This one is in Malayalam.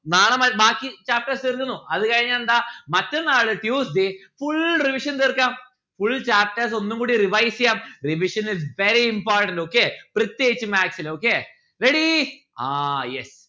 നാളെ മാറ്റ് ബാക്കി chapters തീർക്കുന്നു അത് കഴിഞ്ഞാൽ എന്താ മറ്റന്നാൾ tuesday full revision തീർക്കാം full chapters ഒന്നും കൂടി revise എയ്യാം revision is very important. okay? പ്രത്യേകിച്ച് maths ൽ okay. ready ആ yes